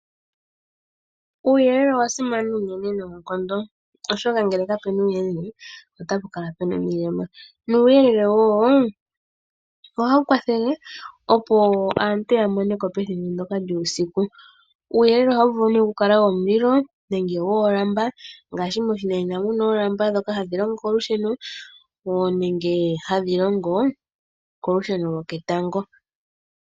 Uuyelele owa simana unene noonkondo oshoka ngele kapena uuyelele nena otapu kala omilema. Uuyelele ohawu kwathele, opo aantu ya moneko pethimbo ndyoka lyuusiku. Uuyelele ohawu vulu oku kala womulilo, woolamba ngaashi moshinanena muna oolamba nenge wolusheno lwoketango.